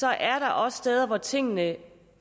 er også steder hvor tingene